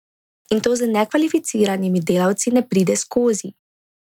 In to z nekvalificiranimi delavci ne pride skozi.